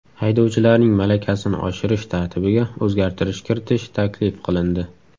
Haydovchilarning malakasini oshirish tartibiga o‘zgartirish kiritish taklif qilindi.